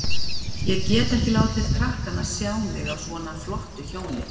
Ég get ekki látið krakkana sjá mig á svona flottu hjóli.